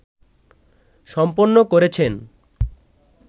সম্পন্ন করেছেন